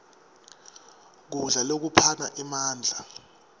kudla lokuphana emandla